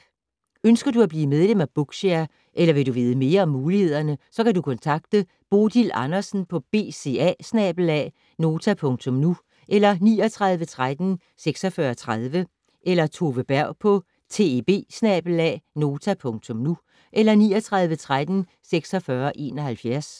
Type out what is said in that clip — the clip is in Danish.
Ønsker du at blive medlem af Bookshare eller vil du vide mere om mulighederne, så kan du kontakte Bodil Andersen på bca@nota.nu eller 39 13 46 30 eller Tove Berg på teb@nota.nu eller 39 13 46 71.